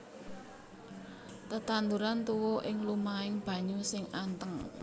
Tetanduran tuwuh ing lumahing banyu sing anteng